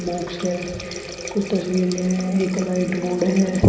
Box है कुछ तस्वीरें हैं एक लाइट बोर्ड है।